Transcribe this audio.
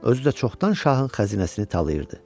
Özü də çoxdan şahın xəzinəsini talayırdı.